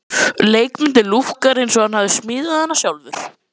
Leikmyndin lúkkar eins og hann hafi smíðað hana sjálfur.